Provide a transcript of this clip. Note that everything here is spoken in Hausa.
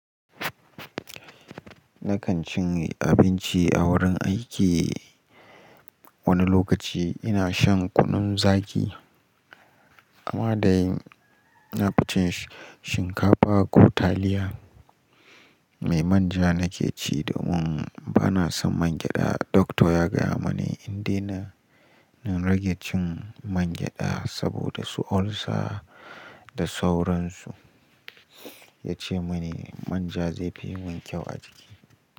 Na kan cinye abinci a wurin aiki. Wani lokaci ina shan kunun zaki amma dai na fi cin shinkafa ko taliya. Mai manja na ke ci domin bana son mangyaɗa. Dokta ya gaya mani in dena, na rage cin mangyaɗa saboda su olsa da sauransu. Ya ce mani manja zai fi mun kyau a jiki.